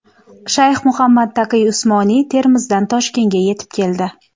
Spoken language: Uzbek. Shayx Muhammad Taqiy Usmoniy Termizdan Toshkentga yetib keldi.